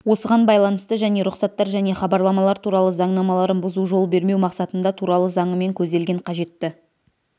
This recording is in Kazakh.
осыған байланысты және рұқсаттар және хабарламалар туралы заңнамаларын бұзу жол бермеу мақсатында туралы заңымен көзделген қажетті